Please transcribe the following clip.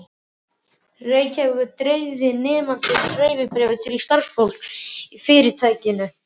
Reykjavíkur, dreifði nemandinn dreifibréfi til starfsfólks í fyrirtækinu.